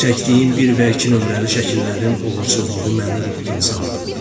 Çəkdiyim bir və iki nömrəli şəkillərin uğursuzluğu məni ruhdan saldı.